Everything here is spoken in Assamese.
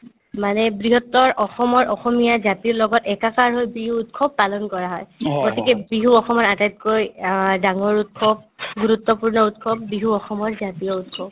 মানে বৃহত্তৰ অসমৰ অসমীয়া জাতিৰ লগত একাকাৰ হৈ বিহু উৎসৱ পালন কৰা হয় গতিকে বিহু অসমৰ আটাইতকৈ অ ডাঙৰ উৎসৱ গুৰুত্বপূৰ্ণ উৎসৱ বিহু অসমৰ জাতীয় উৎসৱ